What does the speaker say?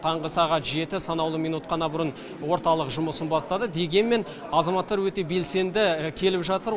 таңғы сағат жеті санаулы минут қана бұрын орталық жұмысын бастады дегенмен азаматтар өте белсенді келіп жатыр